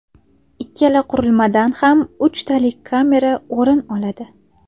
Ikkala qurilmadan ham uchtalik kamera o‘rin oladi.